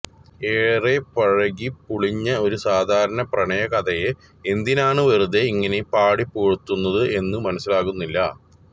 ഏറെ പഴകി പുളിഞ്ഞ ഒരു സാധാരണ പ്രണയ കഥയെ എന്തിനാണ് വെറുതെ ഇങ്ങനെ പാടി പുകഴ്ത്തുന്നത് എന്ന് മനസിലാകുന്നില്ല